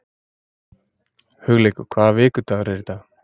Hugleikur, hvaða vikudagur er í dag?